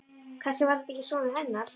Kannski var þetta ekki sonur hennar.